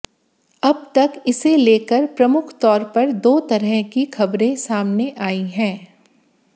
अब तक इसे लेकर प्रमुख तौर पर दो तरह की खबरें सामने आई हैं